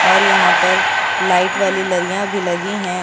और यहां पर लाइट वाली लडियाँ भी लगी हैं।